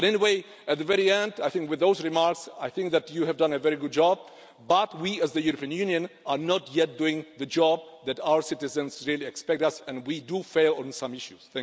But anyway, at the very end, I think with those remarks I think that you have done a very good job, but we as the European Union are not yet doing the job that our citizens really expect us to do, and we do fail on some issues.